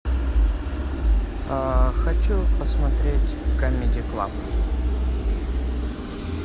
хочу посмотреть камеди клаб